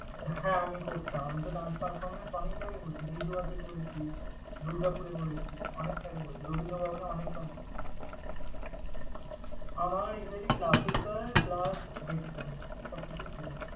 হ্যাঁ আমি করতাম, আমিতো dance performance অনেক জায়গায় করেছি। লিলুয়াতে করেছি, দুর্গাপুরে করেছি, অনেক জায়গায় করেছি। রবীন্দ্র ভবনে অনেক dance করেছি। আমার exacly classical plus western সব কিছুই ছিলো।